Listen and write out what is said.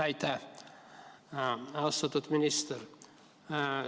Aitäh, austatud minister!